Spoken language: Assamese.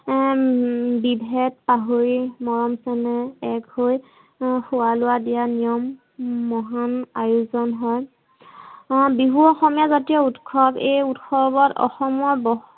হম বিভেদ পাহৰি মৰম চেনেহ এক হৈ খোৱা-লোৱা দিয়া নিয়ম মহান আয়োজন হয়। বিহু অসমীয়া জাতীয় উৎসৱ এই উৎসৱত অসমত